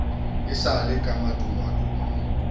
e sa le ka madungwadungwa